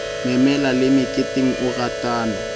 memela le meketeng o ratana